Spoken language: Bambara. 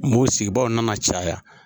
Mo sigibaaw nana caya